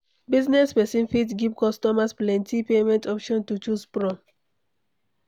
Business person fit give customers plenty payment options to choose from